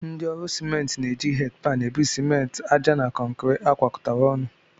Ndị ọrụ simenti na-eji hedịpan ebu simenti, àjà na kọnkịrị agwakọtara ọnụ